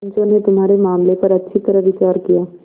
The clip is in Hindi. पंचों ने तुम्हारे मामले पर अच्छी तरह विचार किया